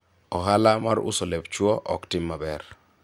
ohala mar uso lep chuwo ok tim maber